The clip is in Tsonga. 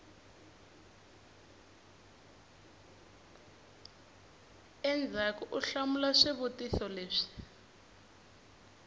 endzhaku u hlamula swivutiso leswi